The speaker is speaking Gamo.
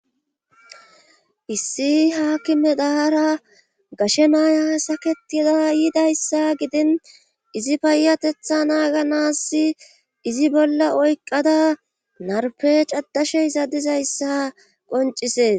issi haaki me dahara gashe naaya saketida yiidayssa gidin izi payyatetha naaga nassi izi bolla oyqqada narpe caddashey zaddizayssa qoncisees